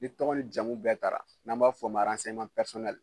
Ni tɔgɔ ni jamu bɛɛ tara n'an b'a fɔ o ma